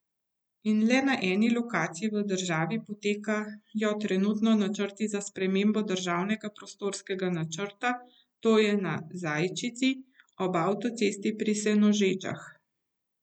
In le na eni lokaciji v državi potekajo trenutno načrti za spremembo državnega prostorskega načrta, to je na Zajčici, ob avtocesti pri Senožečah.